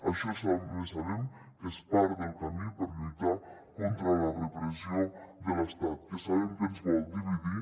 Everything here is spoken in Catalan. això també sabem que és part del camí per lluitar contra la repressió de l’estat que sabem que ens vol dividir